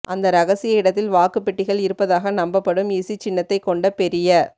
அந்த ரகசிய இடத்தில் வாக்குப் பெட்டிகள் இருப்பதாக நம்பப்படும் இசி சின்னத்தைக் கொண்ட பெரிய